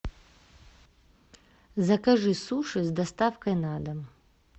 закажи суши с доставкой на дом